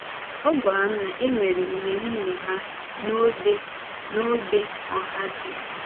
Ọ gwara m na e nwere ịmèrìme ha n’ógbè n’ógbè Ohāji.